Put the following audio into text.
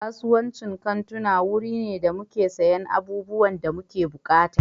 Kasuwancin kantuna wuri ne da muke siyan abubuwan da muke buƙata.